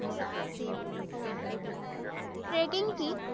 Trekking কি?